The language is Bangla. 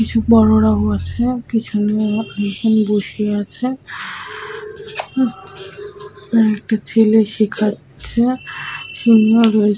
কিছু বড়োরা বসে পিছনেও আমার কিছু জন বসে আছে কয়েকটা ছেলে শেখাচ্ছে চেম্বার রয়েছে ।